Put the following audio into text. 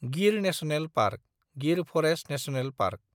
Gir national park (Gir forest national park)